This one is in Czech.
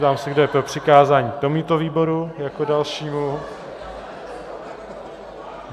Ptám se, kdo je pro přikázání tomuto výboru jako dalšímu.